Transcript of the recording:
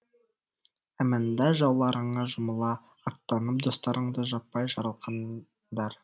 әмәнда жауларыңа жұмыла аттанып достарыңды жаппай жарылқаңдар